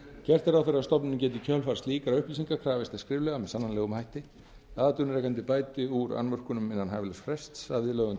gert er ráð fyrir að stofnunin geti í kjölfarið slíkra upplýsinga krafist þess skriflega með sannanlegum hætti að atvinnurekandi bæti úr annmörkunum innan hæfilegs frests að viðlögðum